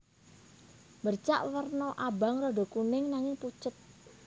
Bercak werna abang rada kuning nanging pucet